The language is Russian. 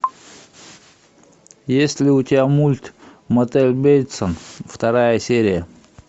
есть ли у тебя мульт мотель бейтсов вторая серия